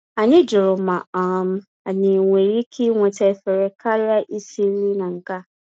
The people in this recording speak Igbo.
Anyị jụrụ ma um anyị nwere ike iweta efere karịa isi nri na nke a